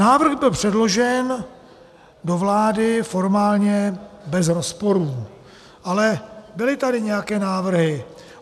Návrh byl předložen do vlády formálně bez rozporů, ale byly tady nějaké návrhy.